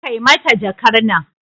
Kai mata jakar nan